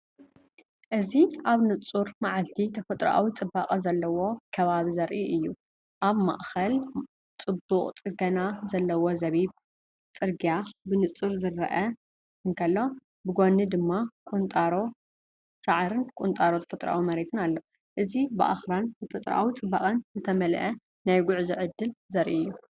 እዚ ኣብ ንጹር መዓልቲ ተፈጥሮኣዊ ጽባቐ ዘለዎ ከባቢ ዘርኢ እዩ። ኣብ ማእከል ጽቡቕ ጽገና ዘለዎ ጸቢብ ጽርግያ ብንጹር ክረአ እንከሎ፡ብጐድኒ ድማ ቁንጣሮ ሳዕርን ቁንጣሮ ተፈጥሮኣዊ መሬትን ኣሎ። እዚ ብኣኽራንን ተፈጥሮኣዊ ጽባቐን ዝተመልአ ናይ ጉዕዞ ዕድል ዘርኢ እዩ።